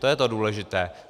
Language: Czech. To je to důležité.